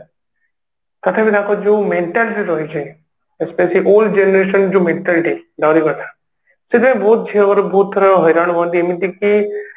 ତଥାପି ତାଙ୍କର ଯୋଉ mentality ରହିଛି generation ଯୋଉ mentality Drawing କଥା ସେଥିପାଇଁ ବହୁତ ଝିଅଘର ବହୁତଥର ହଇରାଣ ହୁଅନ୍ତି ଏମିତିକି